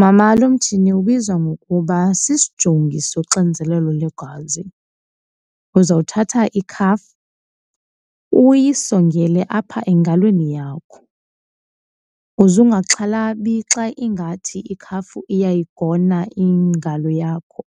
Mama, lo mchini ubizwa ngokuba sisijongi soxinzelelo lwegazi. Uzothatha ikhafu uyisongele apha engalweni yakho. Uze ungaxhalabi xa ingathi ikhafu iyayigona ingalo yakho,